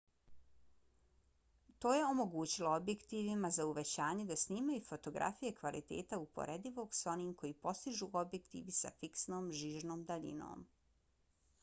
to je omogućilo objektivima za uvećavanje da snimaju fotografije kvaliteta uporedivog s onim koji postižu objektivi sa fiksnom žižnom daljinom